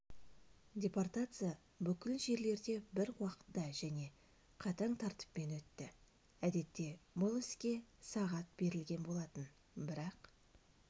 депортация бүкіл жерлерде бір уақытта және қатаң тәртіппен өтті әдетте бұл іске сағат берілген болатын бірақ